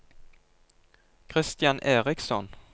Christian Eriksson